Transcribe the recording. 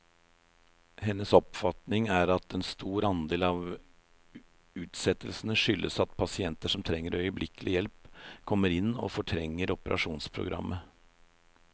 Hennes oppfatning er at en stor andel av utsettelsene skyldes at pasienter som trenger øyeblikkelig hjelp, kommer inn og fortrenger operasjonsprogrammet.